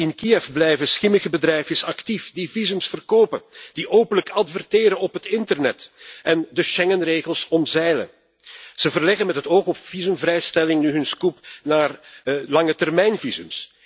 In Kiev blijven schimmige bedrijfjes actief die visa verkopen, die openlijk adverteren op het internet en de Schengenregels omzeilen. Ze verleggen met het oog op visumvrijstelling hun scope naar langetermijnvisa.